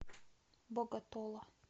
боготола